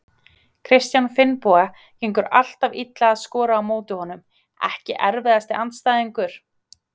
Kristján Finnboga, gengur alltaf illa að skora á móti honum Ekki erfiðasti andstæðingur?